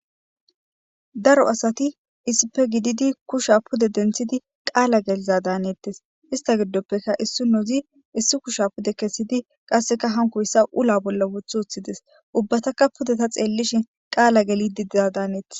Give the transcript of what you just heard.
Daro asati issipe gididi kusha pude dentidi qala geliza danetese issta gidopekka issinozika issi kusha pude kesidi qasekka hankoysan ula bolla wothi wothides ubataka ta xelishin qala gelidi diza danets